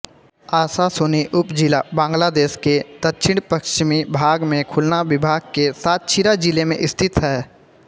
आशाशुनि उपजिला बांग्लादेश के दक्षिणपश्चिमी भाग में खुलना विभाग के सातक्षीरा जिले में स्थित है